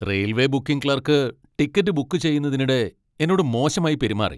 Railway booking clerk ticket book ചെയ്യുന്നതിനിടെ എന്നോട് മോശമായി പെരുമാറി.